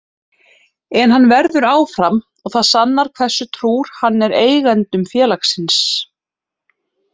En hann verður áfram og það sannar hversu trúr hann er eigendum félagsins.